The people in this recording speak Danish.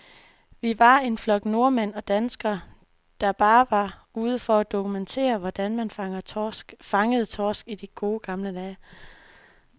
Vi var en flok nordmænd og danskere, der bare var ude for at dokumentere, hvordan man fangede torsk i de gode, gamle dage.